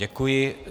Děkuji.